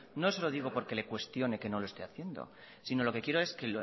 no se lo digo porque le cuestione que no lo esté haciendo sino lo que quiero es que